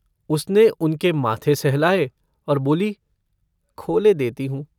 उसने उनके माथे सहलाये और बोली - खोले देती हूँ।